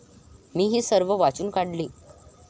मी ही सर्व वाचून काढली.